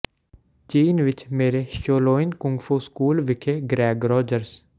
ਚੀਨ ਵਿੱਚ ਮੇਰੇ ਸ਼ੋਲੋਇਨ ਕੁੰਗ ਫੂ ਸਕੂਲ ਵਿਖੇ ਗ੍ਰੈਗ ਰੌਜਰਜ਼